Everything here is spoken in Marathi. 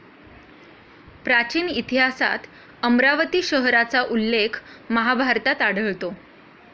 प्राचीन इतिहासात अमरावती शहराचा उल्लेख महाभारतात आढळतो.